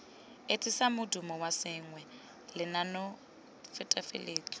etsisang modumo wa sengwe lenaanenetefatso